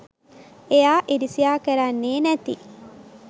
එයා ඉරිසියා කරන්නෙ නැති